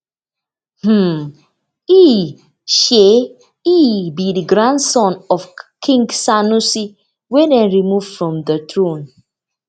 um e um e be di grandson of king sanusi wey dem remove from di throne